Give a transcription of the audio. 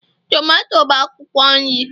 tomato bụ akwụkwọ nri